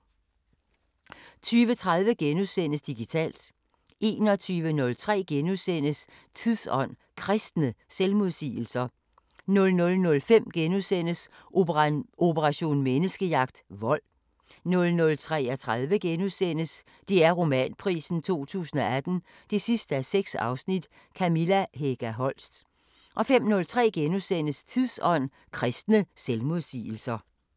20:30: Digitalt * 21:03: Tidsånd: Kristne selvmodsigelser * 00:05: Operation Menneskejagt: Vold * 00:33: DR Romanprisen 2018 6:6 – Kamilla Hega Holst * 05:03: Tidsånd: Kristne selvmodsigelser *